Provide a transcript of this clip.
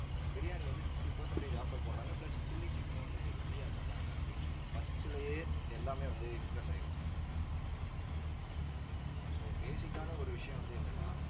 biryani வந்து fifty percentage offer போடுறாங்க plus chilli சிக்கனும் வந்து உங்களுக்கு free ஆ தர்றாங்க அப்படின்னு first லேயே எல்லாமே வந்து impress ஆயிடுவாங்க so basic ஆன ஒரு விஷயம் வந்து என்னன்னா